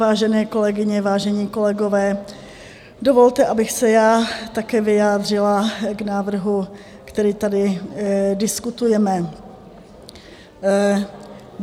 Vážené kolegyně, vážení kolegové, dovolte, abych se já také vyjádřila k návrhu, který tady diskutujeme.